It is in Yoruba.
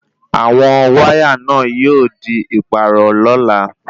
Àwọn wáyà náà yóò di ìpààrọ̀ lola